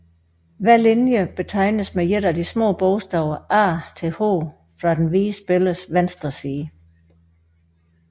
Hver linje betegnes med et af de små bogstaver a til h fra den hvide spillers venstre side